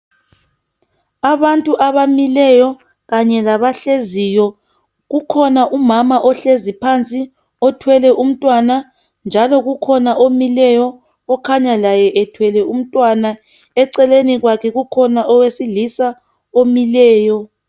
Abantu abamileyo Kanye labahleziyo, kukhona umama ohlezi phansi othwele umntwana njalo kukhona omileyo okhanya laye ethwele umntwana. Eceleni kwakhe kukhona owesilisa omileyo